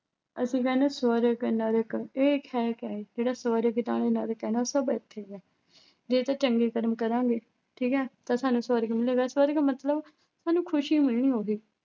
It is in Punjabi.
ਅਸੀਂ ਕਹਿੰਦੇ ਸਵਰਗ ਇਹ ਹੈ ਕਿਆ ਹੈ ਜਿਹੜਾ ਸਵਰਗ ਸਭ ਇੱਥੇ ਹੀ ਹੈ ਜੇ ਤਾਂ ਚੰਗੇ ਕਰਮ ਕਰਾਂਗੇ ਠੀਕ ਹੈ ਤਾਂ ਸਾਨੂੰ ਸਵਰਗ ਮਿਲੇਗਾ, ਸਵਰਗ ਮਤਲਬ ਸਾਨੂੰ ਮਿਲਣੀ ਹੋਵੇ